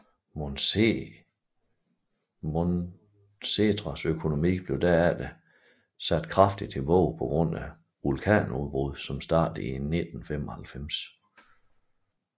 Montserrats økonomi blev derefter sat kraftig tilbage på grund af vulkanudbruddene som startede i 1995